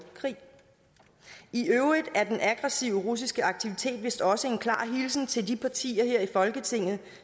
krig i øvrigt er den aggressive russiske aktivitet vist også en klar hilsen til de partier her i folketinget